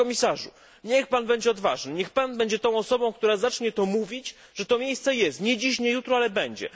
Panie Komisarzu, niech pan będzie odważny, niech pan będzie tą osobą, która zacznie to mówić, że to miejsce jest, nie dziś, nie jutro, ale będzie.